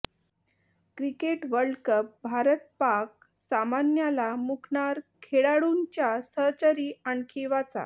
cricket world cup Bharat Pak सामन्याला मुकणार खेळाडूंच्या सहचरी आणखी वाचा